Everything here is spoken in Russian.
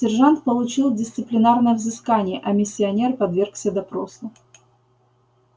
сержант получил дисциплинарное взыскание а миссионер подвергся допросу